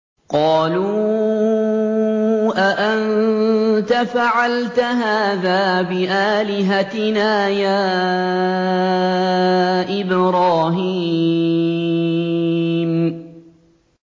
قَالُوا أَأَنتَ فَعَلْتَ هَٰذَا بِآلِهَتِنَا يَا إِبْرَاهِيمُ